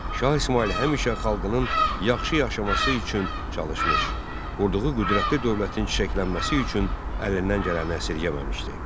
Şah İsmayıl həmişə xalqının yaxşı yaşaması üçün çalışmış, qurduğu qüdrətli dövlətin çiçəklənməsi üçün əlindən gələni əsirgəməmişdi.